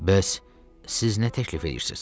Bəs siz nə təklif edirsiniz?